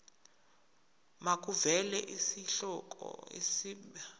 makuvele isihloko isib